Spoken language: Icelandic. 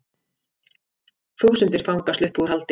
Þúsundir fanga sluppu úr haldi